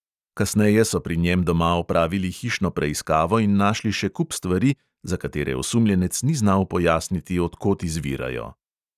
Kasneje so pri njem doma opravili hišno preiskavo in našli še kup stvari, za katere osumljenec ni znal pojasniti, od kod izvirajo.